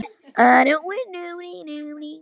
Sjáum fyrst hvað kemur út úr þessu, sagði hann.